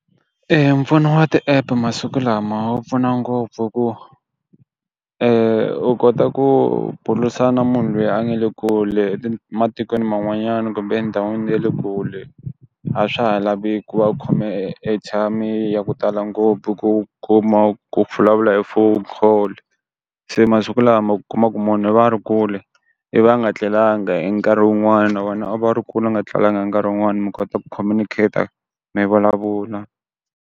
Mpfuno wa ti app masiku lama wu pfuna ngopfu hi ku u kota ku bulusana munhu lweyi a nga le kule matikweni man'wanyana kumbheni ndhawini ye le kule. A swa ha lavi ku va u khome airtime ya ku tala ngopfu ku kuma ku pfula vula hi phone call, se masiku lama u kuma ku munhu i va a ri kule i va nga etlelanga hi nkarhi wun'wana a va ri kulu a nga tlelanga hi nkarhi wun'wani mi kota ku communicater mi vulavula.